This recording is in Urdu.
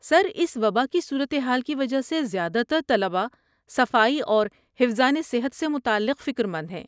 سر، اس وباء کی صورت حال کی وجہ سے زیادہ تر طلبہ صفائی اور حفظانِ صحت سے متعلق فکر مند ہیں۔